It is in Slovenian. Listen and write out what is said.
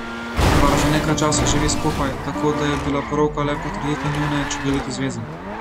Par že nekaj časa živi skupaj, tako da je bila poroka le potrditev njune čudovite zveze.